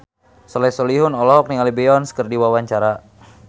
Soleh Solihun olohok ningali Beyonce keur diwawancara